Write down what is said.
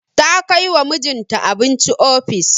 Ta kai wa mijinta abinci ofis.